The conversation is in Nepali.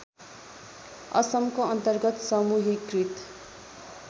असमको अन्तर्गत समूहीकृत